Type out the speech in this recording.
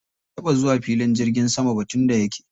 Bai taɓa zuwa filin jirgin sama ba tun da yake.